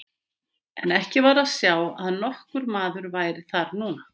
En ekki var að sjá að nokkur maður væri þar núna.